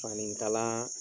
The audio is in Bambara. Fanikalaa